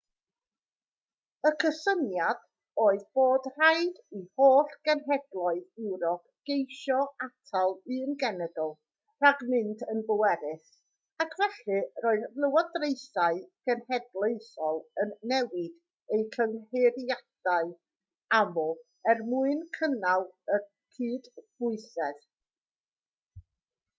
y cysyniad oedd bod rhaid i holl genhedloedd ewrop geisio atal un genedl rhag mynd yn bwerus ac felly roedd lywodraethau cenedlaethol yn newid eu cynghreiriau'n aml er mwyn cynnal y cydbwysedd